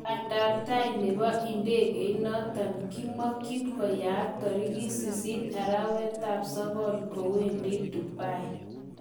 Bandanetai nebo ndegeit noton kimokyin koyaak torikit 8 arawetab sokol kowendi Dubai